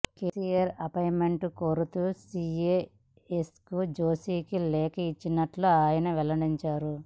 KCR appointment కోరుతూ CS SK జోషికి లేఖ ఇచ్చినట్లు ఆయన వెల్లడించారు